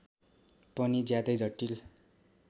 पनि ज्यादै जटिल